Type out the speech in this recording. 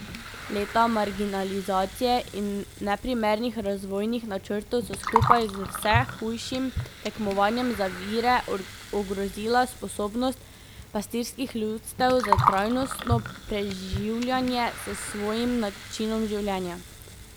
Leta marginalizacije in neprimernih razvojnih načrtov so skupaj z vse hujšim tekmovanjem za vire ogrozila sposobnost pastirskih ljudstev za trajnostno preživljanje s svojim načinom življenja.